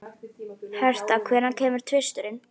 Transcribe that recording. Hertha, hvenær kemur tvisturinn?